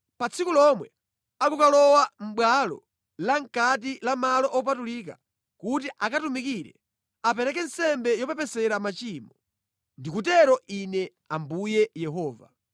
Pa tsiku lomwe akukalowa mʼbwalo la mʼkati la malo opatulika kuti akatumikire, apereke nsembe yopepesera machimo. Ndikutero Ine Ambuye Yehova.